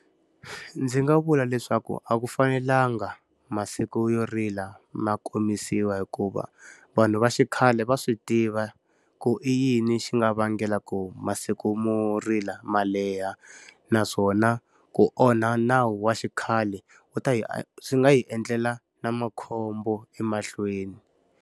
Ndzi nga vula leswaku a ku fanelanga masiku yo rila ma khomisiwa hikuva, vanhu va xikhale va swi tiva ku i yini xi nga vangela ku masiku mo rila ma leha. Naswona ku onha nawu wa xikhale u ta hi swi nga hi endlela na makhombo emahlweni.